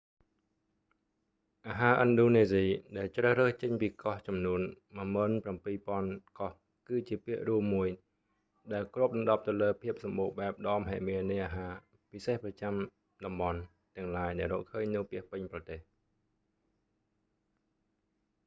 អាហារឥណ្ឌូនេស៊ី ដែលជ្រើសរើសចេញពីកោះចំនួន17,000កោះ គឺជាពាក្យរួមមួយ ដែលគ្របដណ្តប់ទៅលើភាពសម្បូរបែបដ៏មហិមានៃអាហារពិសេសប្រចាំចាំតំបន់ទាំងឡាយដែលរកឃើញនៅពាសពេញប្រទេស